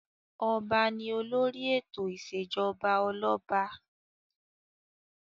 Ọba ni olórí ètò ìṣèjọba ọlọ́ba.